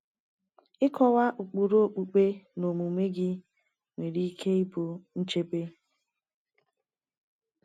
Ịkọwa ụkpụrụ okpukpe na omume gị nwere ike ịbụ nchebe.